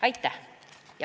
Aitäh!